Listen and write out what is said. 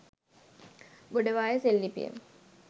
ගොඩවාය සෙල් ලිපිය